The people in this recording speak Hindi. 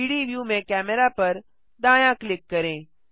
3डी व्यू में कैमेरा पर दायाँ क्लिक करें